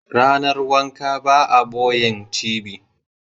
Ranar wanka ba a ɓoyen cibi